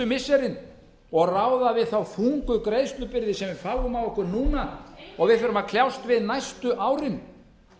missirin og ráða við þá þungu greiðslubyrði sem við fáum á okkur núna og við þurfum að kljást við næstu árin